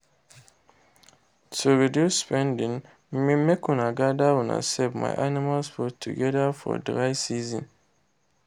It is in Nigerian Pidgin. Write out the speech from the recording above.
to reduce spending make una gather una sef my animals food together for dry season